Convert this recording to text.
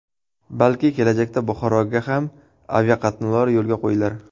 Balki, kelajakda Buxoroga ham aviaqatnovlar yo‘lga qo‘yilar.